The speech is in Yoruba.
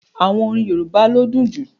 Àwọn orín Yorùbá ló dùn jú.